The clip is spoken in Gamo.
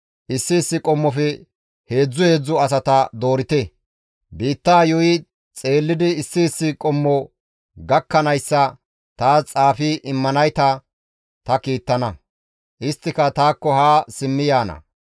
Issi issi qommofe heedzdzu heedzdzu asata doorite. Biittaa yuuyi xeellidi issi issi qommo gakkanayssa taas xaafi immanayta ta kiittana; isttika taakko haa simmi yaana.